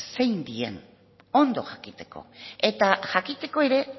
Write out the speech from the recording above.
zein diren ondo jakiteko eta jakiteko ere